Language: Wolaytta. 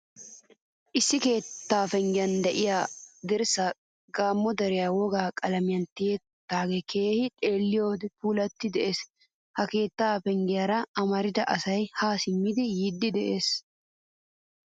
Issi keettaa penggiyaan de'iyaa dirssay gamo deriyaa wogaa qalamiyaa tiyidoge keehin xeelliyode phoolidi de'ees. Ha keettaa penggiyaara amaridda asay ha simmidi yiidi de'ees.